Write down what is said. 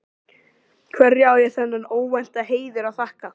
Hverju á ég þennan óvænta heiður að þakka?